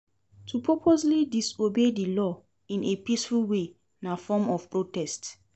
To purposely disobey di law in a peaceful way na form of protest